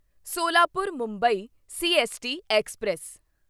Solapur Mumbai CST express